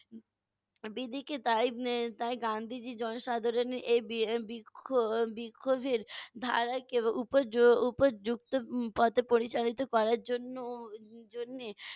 বিধিকে তাই উম তাই গান্ধিজী জনসাধারণের এই বি~ বিক্ষ~ বিক্ষোভের ধারা এবং উপ~ উপর্যুক্ত উম পথে পরিচালিত করার জন্য উম জন্যে